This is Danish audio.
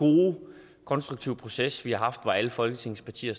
konstruktive proces vi har haft hvor alle folketingets partier